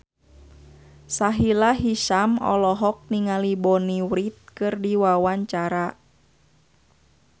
Sahila Hisyam olohok ningali Bonnie Wright keur diwawancara